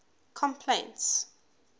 complaints